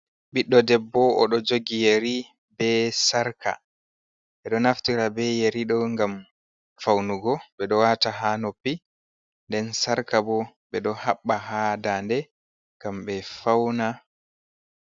Ɓiɗɗo debbo o ɗo jogii yeri be sarƙa, ɓe ɗo naftira be yeri ɗo ngam faunugo, ɓe ɗo waata haa noppi, nden sarƙa bo ɓe ɗo haɓɓa haa daade, ngam ɓe fauna.